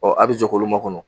a bi jɔ k'olu makɔnɔ.